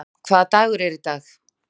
Líam, hvaða dagur er í dag?